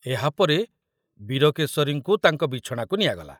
ଏହାପରେ ବୀରକେଶରୀଙ୍କୁ ତାଙ୍କ ବିଛଣାକୁ ନିଆଗଲା।